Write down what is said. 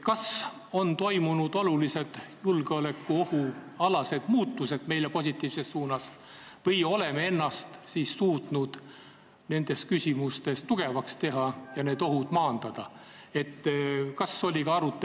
Kas julgeolekuohu mõttes on toimunud olulised muutused meile positiivses suunas või oleme ennast suutnud nendes küsimustes tugevaks muuta ja need ohud maandada?